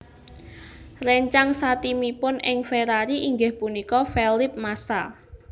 Réncang satimipun ing Ferrari inggih punika Felipe Massa